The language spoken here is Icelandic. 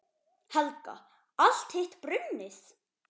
Helga: Allt hitt brunnið?